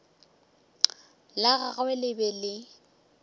la gagwe le be le